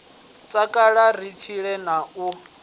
takala ri tshile a na